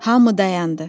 Hamı dayandı.